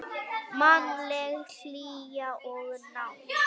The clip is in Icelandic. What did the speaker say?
Mannleg hlýja og nánd.